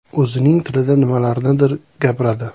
O‘zining tilida nimalarnidir gapiradi.